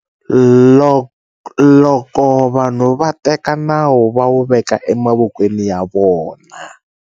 Loko vanhu va teka nawu va wu veka emavokweni ya vona.